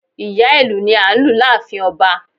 Ìyá ìlù ni a n lù láàfin ọba